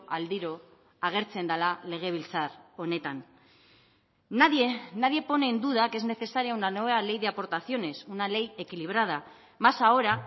aldiro agertzen dela legebiltzar honetan nadie nadie pone en duda que es necesaria una nueva ley de aportaciones una ley equilibrada más ahora